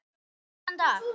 Góðan dag!